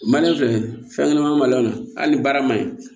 filɛ fɛn ɲɛnama ma ɲan hali ni baara ma ɲi